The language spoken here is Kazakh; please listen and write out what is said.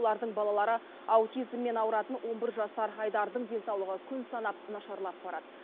олардың балалары аутизммен ауыратын он бір жасар айдардың денсаулығы күн санап нашарлап барады